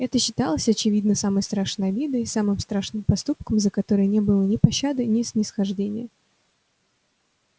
это считалось очевидно самой страшной обидой самым страшным проступком за который не было ни пощады ни снисхождения